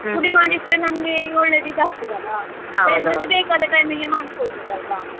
ಪುಡಿ ಮಾಡಿ ಇಟ್ರೆ ನಮ್ಗೆ ಒಳ್ಳೇದು ಇದು ಆಗ್ತದಲ್ಲ ಬೇಕಾದ time ಗೆ ಮಾಡ್ಕೋಡ್ಬೋದಲ್ವಾ.